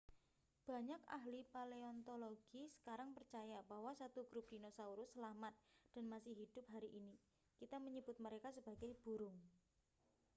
banyak ahli paleontologi sekarang percaya bahwa 1 grup dinosaurus selamat dan masih hidup hari ini kita menyebut mereka sebagai burung